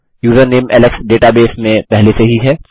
username Alex database में पहले से ही है